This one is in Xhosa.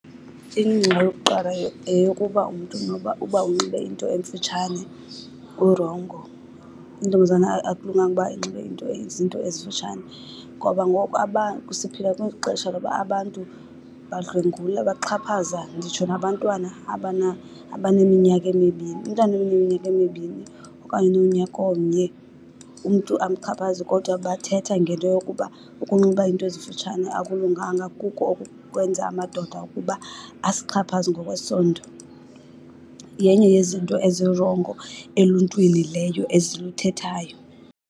Ingxaki yokuqala yeyokuba umntu noba uba unxibe into emfutshane urongo. Intombazana akulunganga uba inxibe into, izinto ezimfutshane ngoba ngoku siphila kwixesha loba abantu badlwengula baxhaphaza nditsho nabantwana abaneminyaka emibini. Umntana oneminyaka emibini okanye ononyaka omnye umntu amxhaphaze, kodwa bathetha ngento yokuba ukunxiba iinto ezimfutshane akulunganga kuko oku kwenza amadoda ukuba asixhaphaze ngokwesondo. Yenye yezinto ezirongo eluntwini leyo eziluthethayo.